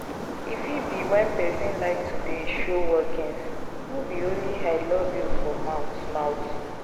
E fit be when persin like to de show workings no be only I love you for mouth mouth